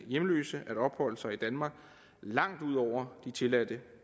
hjemløse at opholde sig i danmark langt ud over de tilladte